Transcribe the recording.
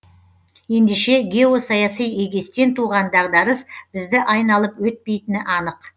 ендеше геосаяси егестен туған дағдарыс бізді айналып өтпейтіні анық